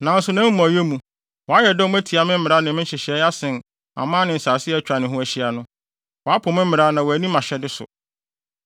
Nanso nʼamumɔyɛ mu, wayɛ dɔm atia me mmara ne me nhyehyɛe asen aman ne nsase a atwa ne ho ahyia no. Wapo me mmara na wanni mʼahyɛde so.